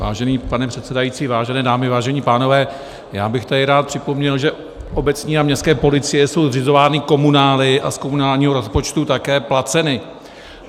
Vážený pane předsedající, vážené dámy, vážení pánové, já bych tady rád připomněl, že obecní a městské policie jsou zřizovány komunály a z komunálního rozpočtu také placeny.